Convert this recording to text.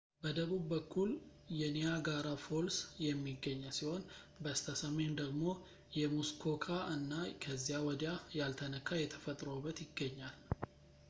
በደቡብ በኩል የኒያጋራ ፎልስ የሚገኝ ሲሆን በስተ ሰሜን ደግሞ የሙስኮካ እና ከዚያ ወዲያ ያልተነካ የተፈጥሮ ውበት ይገኛል